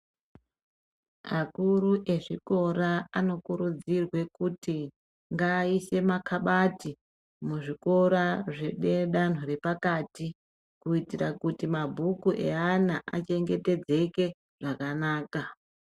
Akuru ezvikora anokurudzirwe kuti ngaaise makabati muzvikora zvedanho repakati kuitire kuti mabhuku eana achengetedzeke zvakanaka.